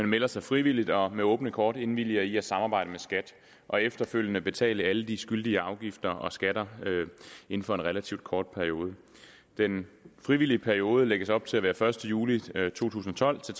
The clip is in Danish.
melder sig frivilligt og med åbne kort indvilger i at samarbejde med skat og efterfølgende betale alle de skyldige afgifter og skatter inden for en relativt kort periode den frivillige periode lægges op til at være første juli to tusind og tolv til